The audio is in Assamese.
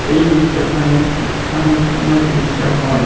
এই দৃশ্যখন এক শিক্ষা অনুষ্ঠানৰ দৃশ্য হয়।